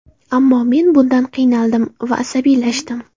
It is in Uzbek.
Ammo men bundan qiynaldim va asabiylashdim.